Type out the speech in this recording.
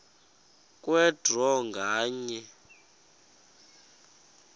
kwe draw nganye